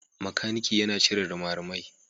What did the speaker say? Makaniki yana cire rimarimai.